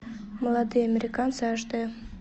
молодые американцы аш д